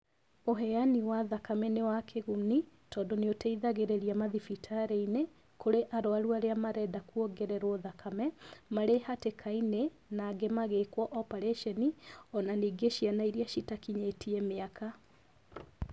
Ũhenyani wa thakame nĩ wa kĩguni tondũ nĩ ũteithagĩrĩria mathibitarĩinĩ, kũrĩ arwaru arĩa marenda kuongererwo thakame, marĩ hatĩkainĩ na angĩ magĩkwo obarĩconi, ona ningĩ ciana iria citakinyĩtie mĩaka.